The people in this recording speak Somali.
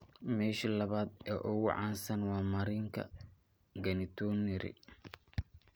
Meesha labaad ee ugu caansan waa marinka genitourinary.